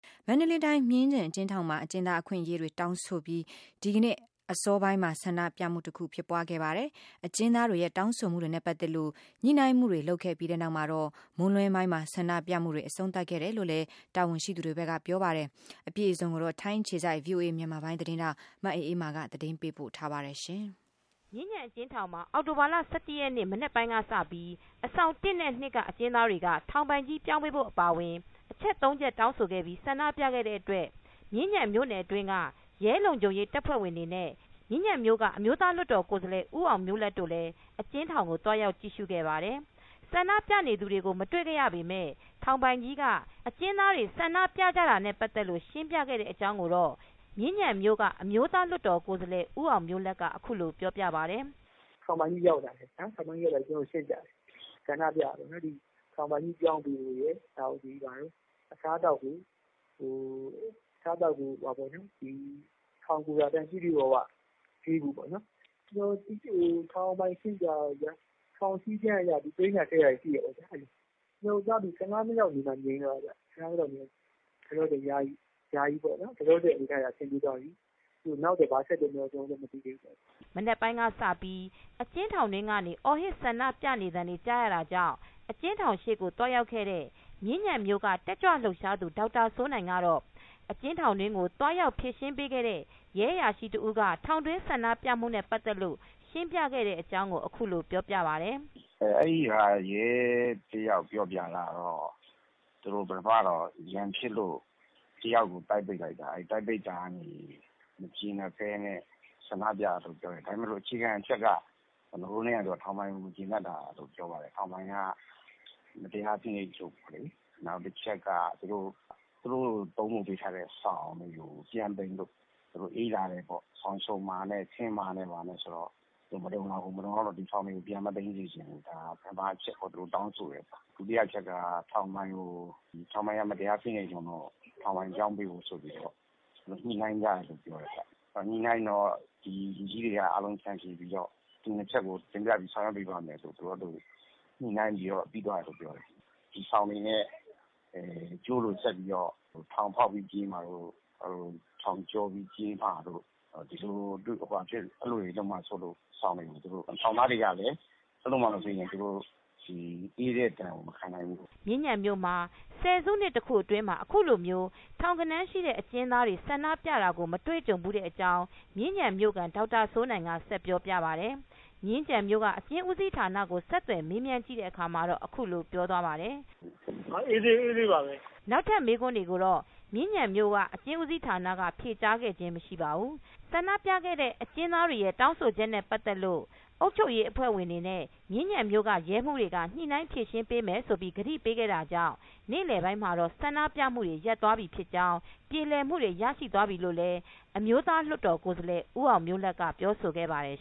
မန္တလေးတိုင်း မြင်းခြံအကျဉ်းထောင်မှာ အကျဉ်းသားအခွင့်အရေးတွေ တောင်းဆိုပြီး ဒီကနေ့ အစောပိုင်းမှာ ဆန္ဒပြမှုတခု ဖြစ်ပွားခဲ့ပါတယ်။ အကျဉ်းသားတွေရဲ့ တောင်းဆိုမှုတွေနဲ့ ပတ်သက်လို့ ညှိနှိုင်းမှုတွေ လုပ်ခဲ့ပြီးနောက်မှာတော့ မွန်းလွဲပိုင်းမှာ ဆန္ဒပြမှုတွေ အဆုံးသတ်ခဲ့တယ်လို့လည်း တာဝန်ရှိသူတွေက ပြောပါတယ်။ အပြည့်အစုံကိုတော့ ဗွီအိုအေမြန်မာပိုင်းသတင်းထောက် မအေးအေးမာ က သတင်းပေးပို့ထားပါတယ်။ မြင်းခြံအကျဉ်းထောင်မှာအောက်တိုဘာလ ၁၁ ရက်နေ့ မနက်ပိုင်းကစပြီး အဆောင် နဲ့ အကျဉ်းသားတွေကထောင်ပိုင်ကြီးပြောင်းပေးဖို့ အပါအဝင် အချက် ၃ချက် တောင်းဆိုပြီး ဆန္ဒပြခဲ့တဲ့အတွက် မြင်းခြံမြိုနယ်အတွင်းက ရဲလုံခြုံရေးတပ်ဖွဲ့ဝင်တွေနဲ့ မြင်းခြံမြို့က အမျိုးသားလွတ်တော်ကိုယ်စားလှယ် ဦးအောင်မျိုးလတ်တို့လည်း အကျဉ်းထောင်ကိုသွားရောက်ကြည့်ရှု့ခဲ့ပါတယ်။ ဆန္ဒပြနေသူတွေကိုမတွေခဲ့ရပေမယ့် ထောင်ပိုင်ကြီးက အကျဉ်းသားတွေဆန္ဒပြကြတာနဲ့ ပတ်သက်လို့ရှင်းပြခဲ့တဲ့ အကြောင်းကိုတော့ မြင်းခြံမြိုကအမျိုးသားလွတ်တော် ကိုယ်စားလှယ်ဦးအောင်မျိုးလတ်က အခုလိုပြောပြပါတယ်။ “ထောင်ပိုင်ကြီးရောက်လာတယ်။ ရောက်လာပြီးတော့ ကျနော်တို့ကိုရှင်းပြတယ်။ ဆန္ဒပြတာပေါ့နော် ထောင်ပိုင်ကြီးပြောင်းပေးဖို့ရယ် အစားအသောက်ကို ထောင်ကိုယ်တာအတိုင်းပြည့်ပြည့်၀၀ ပေးဖို့ပေါ့ဗျာ။ ထောင်စဉ်းကမ်းအရ သိမ်းတာ ဆည်းတာတွေရှိတယ်ပေါ့နော်။ ကျနော်တို့သွားပြီး ၁၅ မိနစ်လောက်နေမှ ငြိမ်သွားတယ်။ လောလောဆယ် ယာယီတော့ အဆင်ပြေသွားပြီ နောက်ဘာတွေဆက်ဖြစ်မလဲဆိုတာတော့ မသိသေးဘူးပေါ့နော်။” မနက်ပိုင်းကစပြီး အကျဉ်းထောင်တွင်းကေ န အော်ဟစ်ဆန္ဒပြနေသံတွေကြားရတာကြောင့် အကျဉ်းထောင်ရှေ့ကိုသွားရောက်ခဲ့တဲ့ မြင်းခြံမြိုက တက်ကြွလှုပ်ရှားသူ ဒေါက်တာစိုးနိုင်ကတော့ အကျဉ်းထောင်တွင်းကိုသွားရောက်ဖြေရှင်းပေးခဲ့တဲ့ ရဲအရာရှိတဦးက ထောင်တွင်းဆန္ဒပြမူနဲ့ပတ်သက်လို့ရှင်းပြခဲ့တဲ့အကြောင်းအခုလိုပြောပြပါတယ်။ “အဲဒီဟာကို ရဲ ၁ ယောက်ပြောပြတာကတော့ သူတို့ ပထမတော့ ရန်ဖြစ်လို့ ၁ ယောက်ကို တိုက်ပိတ်လိုက်တာ။ အဲလို တိုက်ပိတ်တာ ကနေ မကျေနပ်ပဲနဲ့ ဆန္ဒပြတယ်လို့ပြောတယ်။ ဒါပေမယ့် အခြေခံအချက်က ထောင်ပိုင်ကို မကျေနပ်တာလို့ပြောပါတယ်။ ထောင်ပိုင်က မတရားဖိနှိပ်ချုပ်ချယ် တယ်လေ။ နောက်တချက်က သူတို့ သုံးတဲ့ စောင်တွေကို ပြန်သိမ်းထားတယ်ပေါ့။ သူတို့အေးလာတယ်ပေါ့ စောင်ခြုံမှာနဲ့ ခင်းမှာနဲ့ဆိုတော့ မလုံလောက်ဘူး။ မလုံလောက်တော့ ဒီစောင်တွေကို ပြန်မသိမ်းစေချင်ဘူး ဒါပထမအချက်ပေါ့နော် သူတို့တောင်းဆိုတယ်ဆိုတာ။ ဒုတိယအချက်က ထောင်ပိုင်တွေကို ထောင်ပိုင်က မတရားဖိနှိပ်လို့ ထောင်ပိုင်ကို ပြောင်းပေးဖို့ဆိုပြီးတော့ ညှိနှိုင်းထားတယ်လို့ပြောတယ်။ ညှိတော့ လူကြီးတွေက အားလုံးဖျန်ဖြေပြီးတော့ ဒီ ၂ ချက်ကို တင်ပြပြီးတော့ဆောင်ရွက်ပေးမယ်ဆိုပြီး ညှိနှိုင်းပြီးတော့ ပြီးသွားတယ်လို့ပြောတယ်။ဒီစောင်တွေနဲ့ ကြိုးလိုလုပ်ပြီးတော့ ထောင်ဖောက်ပြီးပြေးမှာတို့၊ ထောင်ကျော်ပြီးပြေးမှာတို့ ဒီလိုတွေလုပ်မှာစိုးလို့တဲ့ ။ ထောင်သားတွေကလည်း အဲလိုမှ မပေးရင် သူတို့ အေးတဲ့ ဒဏ်ကို မခံနိုင်ဘူး။ ” မြင်းခြံမြို့မှာ ၁၀ စုနှစ်တခုအတွင်းမှာအခုလိုမျိုး ထောင်ဂဏန်း ရှိတဲ့အကျဉ်းသားတွေဆန္ဒပြတာကိုတော့ မတွေကြံဘူးတဲ့အကြောင်းမြင်းခြံမြိုခံဒေါက်တာစိုးနိုင်ကဆက်ပြောပြပါတယ်။ မြင်းခံအကျဉ်းဦးစီးဌာနကိုဆက်သွယ်မေးမြန်းကြည့်တဲ့အခါမှာ တော့အခုလိုပြောသွားပါတယ်။ “ အားလုံးအေးဆေးပါပဲ။” နောက်ထပ်မေးခွန်းတွေကိုတော့မြင်းခြံအကျဉ်းဦးစီးဌာနကဖြေကြားခဲ့ခြင်းမရှိပါဘူး။ ဆန္ဒပြသူတွေရဲတောင်းဆိုချက်နဲ့ပတ်သက်လို့အုပ်ချုပ်ရေးအဖွဲတွေနဲ့မြင်းခြံမြိုက ရဲမူးတွေက ညှိနှိုင်းဖြေရှင်းပေးမယ်လို့ ကတိပေးခဲ့တာကြောင့်နေလည်ပိုင်းမှာတော့ ဆန္ဒပြမူတွေရပ်သွားပြီး ပြေလည်မူတွေ ရရှိသွားတယ်လို့လည်း အမျိုသားလွတ်တော်ကိုယ်စားလှယ်ဦးအောင်မျိုးလတ်က ပြောဆိုခဲ့ပါတယ်